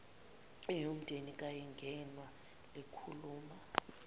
eyomndeni kayingenwa likhuluma